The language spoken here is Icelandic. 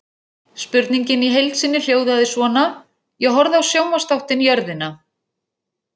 Spurningin í heild sinni hljóðaði svona: Ég horfði á sjónvarpsþáttinn Jörðina.